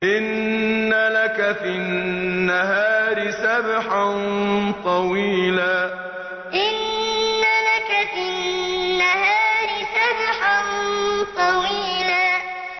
إِنَّ لَكَ فِي النَّهَارِ سَبْحًا طَوِيلًا إِنَّ لَكَ فِي النَّهَارِ سَبْحًا طَوِيلًا